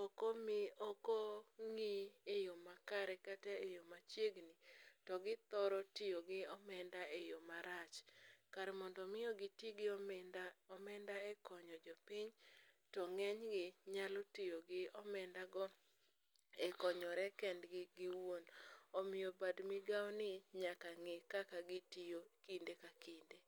,okong'i eyo makare kata e yo machiegni, to githoro tiyo gi omenda e yo marach. Kar mondo omi giti gi omenda e konyo jopiny, to ng'enygi nyalo tiyo gi omenda go e konyore kendgi giwuon. Omiyo bad migawoni nyaka ng'i kaka gitiyo kinde ka kinde.